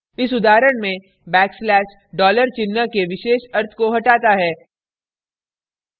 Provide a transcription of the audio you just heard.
इस उदाहरण में backslash $ dollar चिन्ह के विशेष अर्थ को हटाता है